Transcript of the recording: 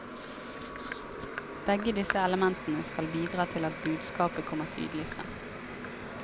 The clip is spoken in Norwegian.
Begge disse elementene skal bidra til at budskapet kommer tydelig fram.